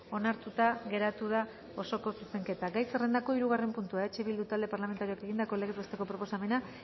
onartuta geratu da osoko zuzenketa gai zerrendako hirugarren puntua eh bildu talde parlamentarioak egindako legez besteko proposamena